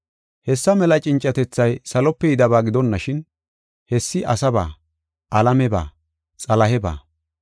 Hessa mela cincatethay salope yidaba gidonashin, hessi asaba, alameba, xalaheba.